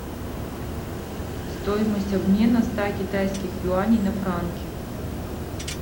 стоимость обмена ста китайских юаней на франки